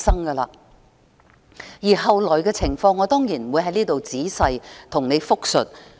至於後來的情況，我當然不會在此仔細複述。